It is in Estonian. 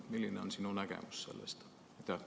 Milline on sinu nägemus sellest?